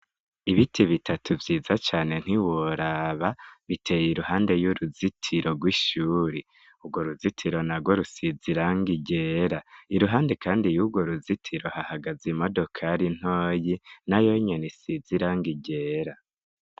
Ibiti bitatu vyiza cane ntiworaba, biteye iruhande y'uruzitiro rw'ishuri. Urwo ruzitiro narwo rusize irangi ryera. Iruhande kandi yurwo ruzitiro hahagaze imodokari ntoyi nayo nyene isizie irangi ryera.